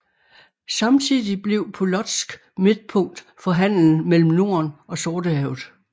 Samtidig blev Polotsk midtpunkt for handelen mellem Norden og Sortehavet